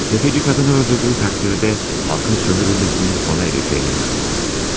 Təfəci qadını öldürdüyü təqdirdə xalqın sömürülməsinin sona erəcəyinə inanmaqdadır.